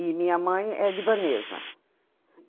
E minha mãe é libanesa.